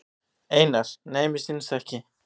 Einar: Nei mér sýnist ekki.